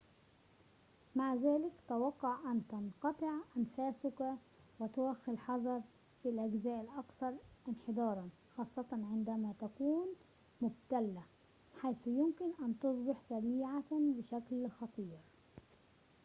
مع ذلك توقع أن تنقطع أنفاسك وتوخَّ الحذر في الأجزاء الأكثر انحداراً خاصةً عندما تكون مبتلة حيث يمكن أن تصبح سريعة بشكل خطير